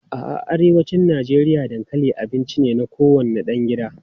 A'a, a arewacin Najeriya dankali abinci ne na kowane ɗan gida.